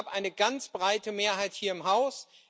Es gab eine ganz breite Mehrheit hier im Haus.